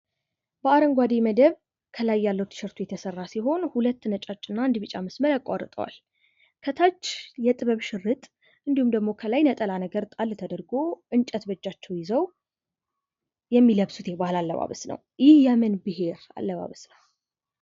በአረንጓዴ መደብ ከላይ ያለው ቲሸርቱ የተሰራ ሲሆን ሁለት ነጫጭ እና አንድ ቢጫ መስመር ያቁዋርጠዋል። ከታች የጥበብ ሽርጥ እንዲሁም ደሞ ከላይ ነጠላ ነገር ጣል ተደርጎ፣ እንጨት በእጃቸው ይዘው የሚለብሱት የባህል አለባበስ ነው። ይህ የምን ብሄር አለባበስ አይነት ነው።?